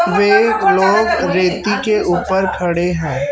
वे एक लोग रेती के ऊपर खड़े है।